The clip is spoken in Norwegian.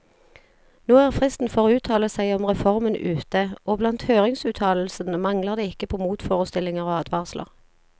Nå er fristen for å uttale seg om reformen ute, og blant høringsuttalelsene mangler det ikke på motforestillinger og advarsler.